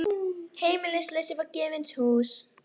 Heimilislausir fá gefins hús